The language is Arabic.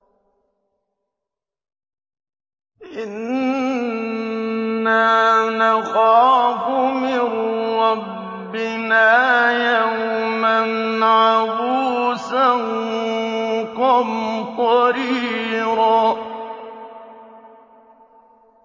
إِنَّا نَخَافُ مِن رَّبِّنَا يَوْمًا عَبُوسًا قَمْطَرِيرًا